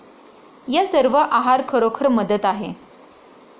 या सर्व आहार खरोखर मदत आहे.